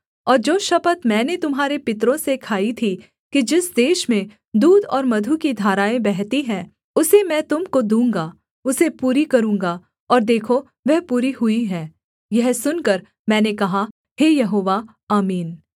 और जो शपथ मैंने तुम्हारे पितरों से खाई थी कि जिस देश में दूध और मधु की धाराएँ बहती हैं उसे मैं तुम को दूँगा उसे पूरी करूँगा और देखो वह पूरी हुई है यह सुनकर मैंने कहा हे यहोवा आमीन